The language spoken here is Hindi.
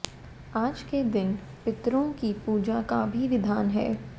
आज के दिन पितरों की पूजा का भी विधान है